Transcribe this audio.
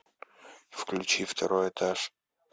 включи второй этаж